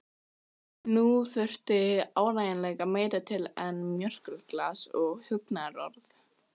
Nú þurfti áreiðanlega meira til en mjólkurglas og huggunarorð.